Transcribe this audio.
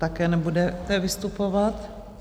Také nebudete vystupovat?